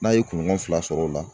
N'a ye kuɲɔgɔn fila sɔr'o la